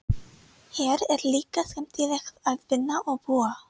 Hér er líka skemmtilegt að vinna og búa.